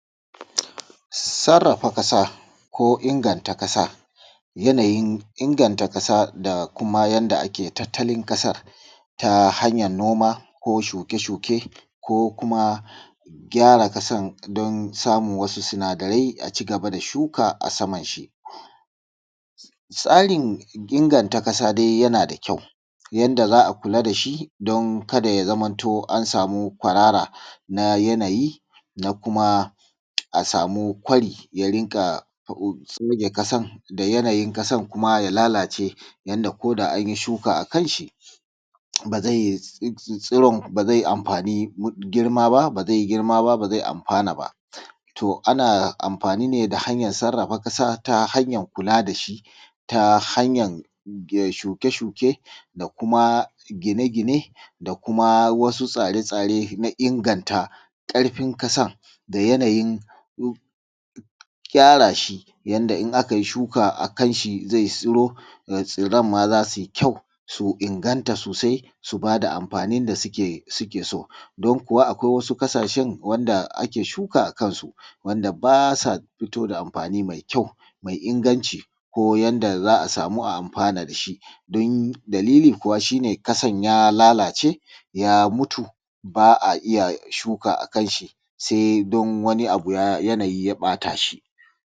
sarrafa ƙasa ko inganta ƙasa yanayin inganta ƙasa da kuma yanda ake tattalin ƙasa ta hanyan noma ko shuke shuke ko kuma gyara ƙasan don samun wasu sinadarai a cigaba da shuka a saman shi tsarin inganta ƙasa dai yana da kyau yanda za a kula da shi don kada ya zamo an sami kwarara na yanayi da kuma a samu kwari ya rinƙa kwashe ƙasa da yanayin ƙasan kuma ya lalace yanda koda an yi shuka a kan shi zai tsiro ba za a samu amfani ba ba zai yi girma ba to ana amfani da hanyar sarrafa ƙasa ta hanyar kula da shi ta hanyar shuke shuke da kuma gine gine da kuma wasu tsare tsare don inganta ƙarfin ƙasa da yanayin gyara shi yanda in akai shuka a kan shi zai tsiro da kyau kuma zai inganta sosai su ba da amfani da suke so don kuwa akwai wasu ƙasashen wanda ake shuka a kansu wanda ba sa fito da amfani mai kyau mai inganci ko yanda za a samu a yi amfani da shi dalili kuwa shine ƙasan ya lalace ya mutu ba a iya shuka a kan shi sai don wani yanayi ya ɓata shi